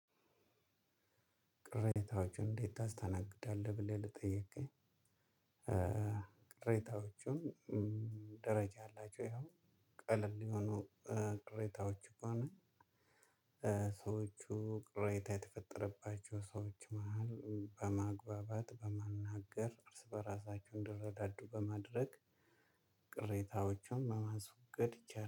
ቅሬታዎችን እንዴት ታስተናግዳለህ? ብለህ ለጠየከኝ ቅሬታዎች ደረጃ አላቸው። ይኸው ቀላል የሆኑ ቅሬታዎ ከሆነ ሰዎቹ ቅሬታ የተፈጠረባቸው ሰዎች መሃል በማግባባት በመናገር እርስ በራሳቸው እንዲረዳዱ በማድረግ ቅሬታዎችን ማስወገድ ይቻላል።